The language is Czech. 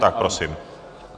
Tak prosím.